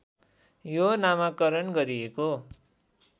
यो नामाकरण गरिएको